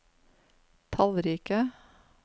tallrike